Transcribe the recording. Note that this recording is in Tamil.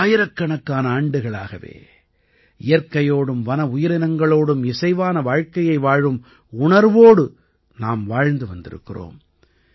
ஆயிரக்கணக்கான ஆண்டுகளாகவே இயற்கையோடும் வன உயிரினங்களோடும் இசைவான வாழ்க்கையை வாழும் உணர்வோடு நாம் வாழ்ந்து வந்திருக்கிறோம்